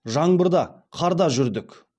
жаңбырда қарда жүрдік